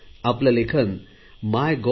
आपले लेखन मायगोव